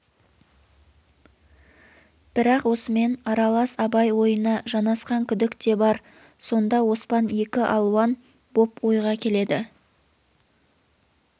бірақ осымен аралас абай ойына жанасқан күдік те бар сонда оспан екі алуан боп ойға келеді